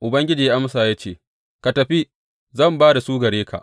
Ubangiji ya amsa masa ya ce, Ka tafi, zan ba da su gare ka.